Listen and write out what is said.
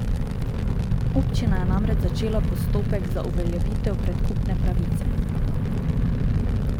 Občina je namreč začela postopek za uveljavitev predkupne pravice.